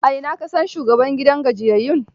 A ina ka san shugaban gidan gajiyayyun?